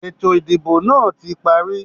Ètò ìdìbò náà tí parí.